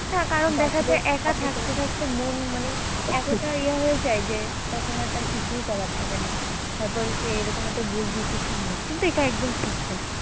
হ্যাঁ কারন দেখা যায় একা থাকতে থাকতে মন মানে এতোটা ইয়ে হয়ে যায় যে তখন আর তার কিছুই করার থাকে না তারপরে সে এরকম একটা ভুল decision নেয় কিন্তু এটা একদমই ঠিক না।